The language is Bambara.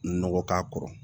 Nɔgɔ k'a kɔrɔ